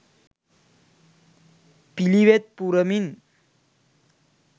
පිළිවෙත් පුරමින්